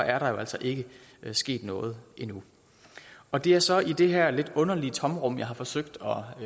er der jo altså ikke sket noget endnu og det er så i det her lidt underlige tomrum jeg har forsøgt